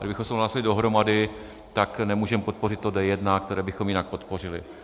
Kdybychom hlasovali dohromady, tak nemůžeme podpořit to D1, které bychom jinak podpořili.